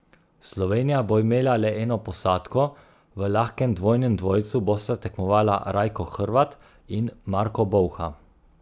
Slovenija bo imela le eno posadko, v lahkem dvojnem dvojcu bosta tekmovala Rajko Hrvat in Marko Bolha.